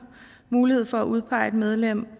mulighed for at udpege et medlem